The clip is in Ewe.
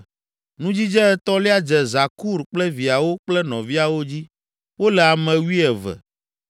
Nudzidze etɔ̃lia dze Zakur kple viawo kple nɔviawo dzi; wole ame wuieve.